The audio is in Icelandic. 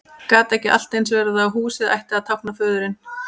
Gat ekki allt eins verið að húsið ætti að tákna föðurinn?